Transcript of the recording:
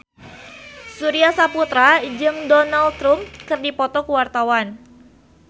Surya Saputra jeung Donald Trump keur dipoto ku wartawan